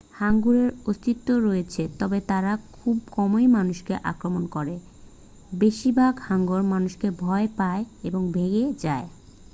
হাঙ্গরের অস্তিত্ব রয়েছে তবে তারা খুব কমই মানুষকে আক্রমণ করে বেশিরভাগ হাঙ্গর মানুষকে ভয় পায় এবং ভেসে যায়